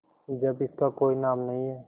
जब इसका कोई नाम नहीं है